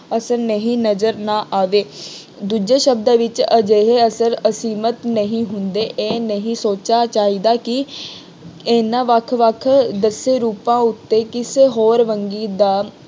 ਅਸਰ ਨਹੀਂ ਨਜ਼ਰ ਨਾ ਆਵੇ। ਦੂਜੇ ਸ਼ਬਦਾਂ ਵਿੱਚ ਅਜਿਹੇ ਅਸਰ ਅਸੀਮਿਤ ਨਹੀਂ ਹੁੰਦੇ, ਇਹ ਨਹੀਂ ਸੋਚਣਾ ਚਾਹੀਦਾ ਕਿ ਇਹਨਾ ਵੱਖ ਵੱਖ ਦੱਸੇ ਰੂਪਾਂ ਉੱਤੇ ਕਿਸੇ ਹੋਰ ਵੰਨਗੀ ਦਾ